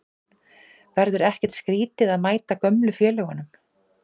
Verður ekkert skrítið að mæta gömlu félögunum?